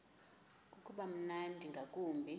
uba mnandi ngakumbi